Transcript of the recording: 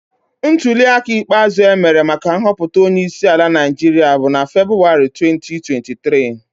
Ntulịaka ikpeazụ e mere maka nhọpụta onyeisiala Naijiria bụrụ na Febụwarị 2023